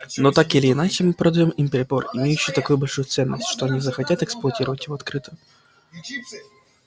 но так или иначе мы продаём им прибор имеющий такую большую ценность что они захотят эксплуатировать его открыто